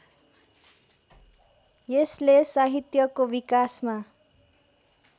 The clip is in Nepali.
यसले साहित्यको विकासमा